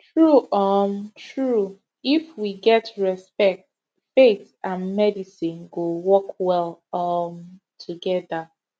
true um true if we get respect faith and medicine go work well um together